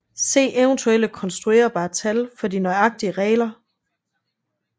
Se eventuelt konstruerbare tal for de nøjagtige regler